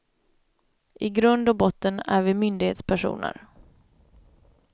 I grund och botten är vi myndighetspersoner.